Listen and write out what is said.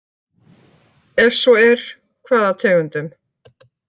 Ef svo er, hvaða tegundum?